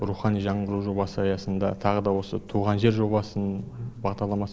рухани жаңғыру жобасы аясында тағы да осы туған жер жобасын бағдарламасын ұйымдас